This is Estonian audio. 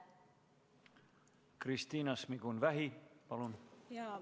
Kristina Šmigun-Vähi, palun!